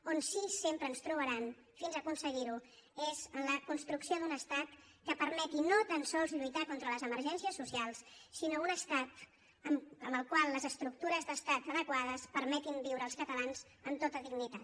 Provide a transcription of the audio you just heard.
on sí que sempre ens trobaran fins a aconseguir ho és en la construcció d’un estat que permeti no tan sols lluitar contra les emergències socials sinó un estat en el qual les estructures d’estat adequades permetin viure als catalans amb tota dignitat